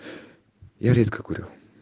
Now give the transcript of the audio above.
я редко курю